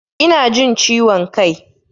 Ina jin ciwon kai.